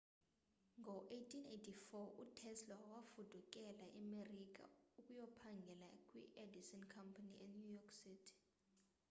ngo-1884 utesla wafudukela emerika ukuyakuphangela kwiedison company enew york city